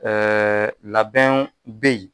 labɛnw bɛ ye.